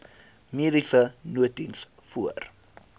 mediese nooddiens voor